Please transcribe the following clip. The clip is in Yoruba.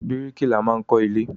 Bíríkìlà máa ń kọ́ ilé.